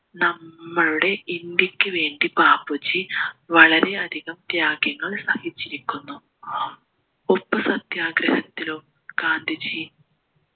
നമ്മളുടെ ഇന്ത്യക്ക് വേണ്ടി ബാപ്പുജി വളരെ അധികം ത്യാഗ്യങ്ങൾ സഹിച്ചിരിക്കുന്നു ഉപ്പ് സത്യാഗ്രഹത്തിലോ ഗാന്ധിജി